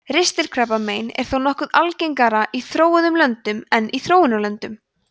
ristilkrabbamein er þó nokkuð algengara í þróuðum löndum en í þróunarlöndum